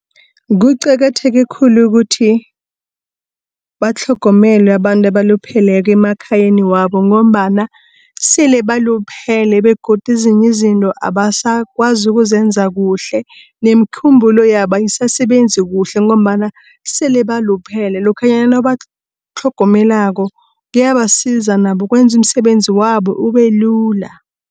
Kuqakatheke khulu ukuthi, batlhogomele abantu abalupheleko emakhayani wabo ngombana sele baluphele begodu ezinyi izinto abasakwazi ukuze zenza kuhle. Nemikhumbulo yabo ayisasebenzi kuhle ngombana sele baluphele, lokhanyana batlhogomelako kuyabasiza nabo kwenza umsebenzi wabo ubelula.